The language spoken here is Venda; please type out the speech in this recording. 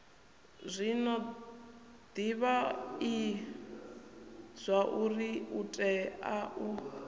zwino divhai zwauri utea u